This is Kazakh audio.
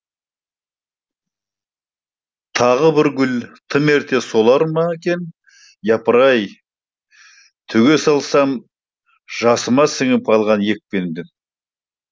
тағы бір гүл тым ерте солар ма екен япыра ай төге салсам жасыма сіңіп алған екпемді